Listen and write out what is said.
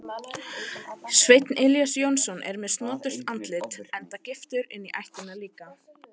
Sveinn Elías Jónsson er með snoturt andlit enda giftur inní ættina líka.